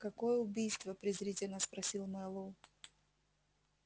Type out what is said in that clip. какое убийство презрительно спросил мэллоу